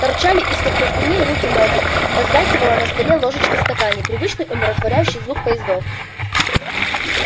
торчали из-под простыней руки-ноги позвякивала на столе ложечка в стакане привычный умиротворяющий звук поездов